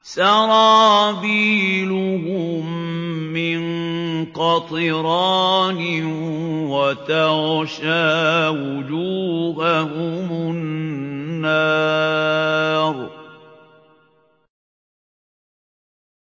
سَرَابِيلُهُم مِّن قَطِرَانٍ وَتَغْشَىٰ وُجُوهَهُمُ النَّارُ